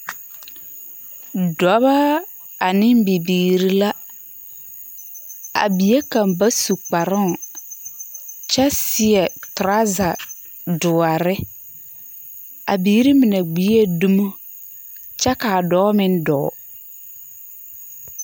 Dɔba ane bibiiri la, a bie kaŋ ba su kparoŋ kyɛ seɛ toraza doɔre, a biiri mine gbie dumo kyɛ ka a dɔɔ meŋ dɔɔ. 13428